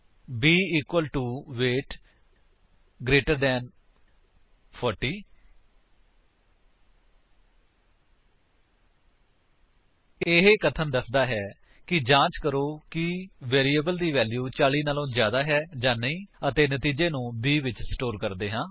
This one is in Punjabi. b equal to weight greater than 40160 ਇਹ ਕਥਨ ਦਸਦਾ ਹੈ ਕਿ ਜਾਂਚ ਕਰੋ ਕਿ ਵੈਰਿਏਬਲ ਦੀ ਵੈਲਿਊ 40 ਤੋਂ ਜਿਆਦਾ ਹੈ ਜਾਂ ਨਹੀਂ ਅਤੇ ਨਤੀਜੇ ਨੂੰ b ਵਿੱਚ ਸਟੋਰ ਕਰਦੇ ਹਾਂ